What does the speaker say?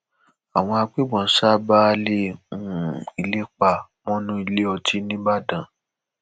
àwọn agbébọn ṣa baálé um ilé pa mọnú ilé ọtí nìbàdàn